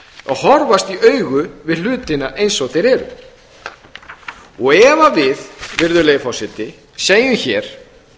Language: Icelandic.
að horfast í augu við hlutina eins og þeir eru ef við virðulegi forseta segjum hér